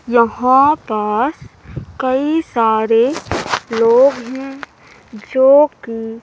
यहां पास कई सारे लोग हैं जो कि--